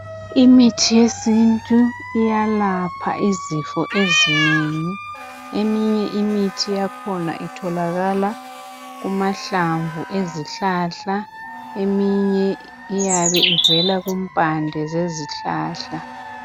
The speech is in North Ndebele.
Imithi yesintu iyalapha izifo ezinengi. Eminye imithi yakhona itholakala kumahlamvu izihlahla eminye iyabe ivela kumpande yezihlahla.